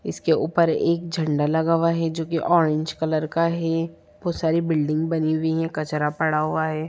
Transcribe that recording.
इसके ऊपर एक झंडा लगा हुआ है जो की ऑरेंज कलर का है | बहुत सारी बिल्डिंग बनी हुई है कचरा पड़ा हुआ है ।